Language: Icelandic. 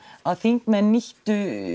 að þingmenn nýttu